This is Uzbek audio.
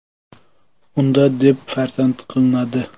Unda: deb faraz qilinadi.